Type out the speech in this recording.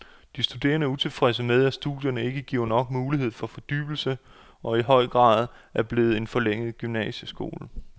De studerende er utilfredse med, at studierne ikke giver nok mulighed for fordybelse og i for høj grad er blevet en forlænget gymnasieskole.